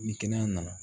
Ni kɛnɛya nana